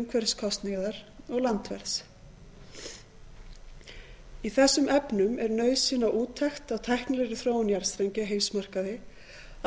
umhverfiskostnaðar og landverðs í þessum efnum er nauðsyn á úttekt á tæknilegri þróun jarðstrengja á heimsmarkaði